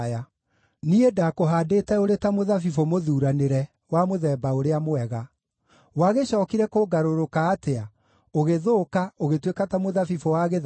Niĩ ndaakũhaandĩte ũrĩ ta mũthabibũ mũthuuranĩre wa mũthemba ũrĩa mwega. Wagĩcookire kũngarũrũka atĩa, ũgĩthũka, ũgĩtuĩka ta mũthabibũ wa gĩthaka?